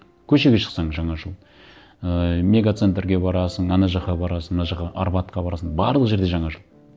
көшеге шықсаң жаңа жыл ыыы мега центрге барасың ана жаққа барасың мына жаққа арбатқа барасың барлық жерде жаңа жыл